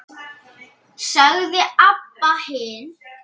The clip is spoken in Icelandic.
sagði Abba hin.